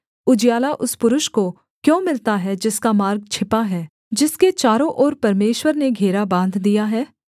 उजियाला उस पुरुष को क्यों मिलता है जिसका मार्ग छिपा है जिसके चारों ओर परमेश्वर ने घेरा बाँध दिया है